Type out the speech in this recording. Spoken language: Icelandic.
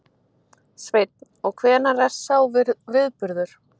Sveinn: Og hvenær er sá viðburður?